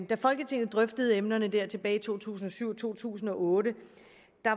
da folketinget drøftede emnerne tilbage i to tusind og syv og to tusind og otte